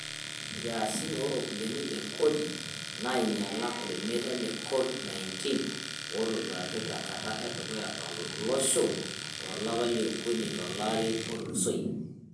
Nkias o ropiyiani e kodi neinyiala olmeitai le Covid-19, otoduaki tenkata e dukuya to losho tolapa leokuni tolari otulusoyia.